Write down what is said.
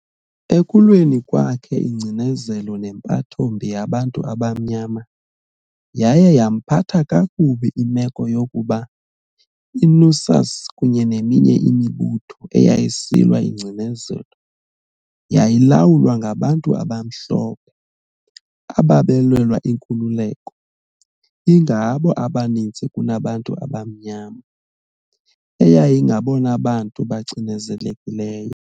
Ekulweni kwakhe ingcinezelo nempatho mbi yabantu abamnyama, yaye yamphatha kakubi imeko yokuba iNUSAS kunye neminye imibutho eyayisilwa ingcinezelo yayilawulwa ngabantu abamhlophe ababelwela inkululeko, ingabo abaninzi kunabantu abamnyama, eyayingabona bantu bacinezelekileyo.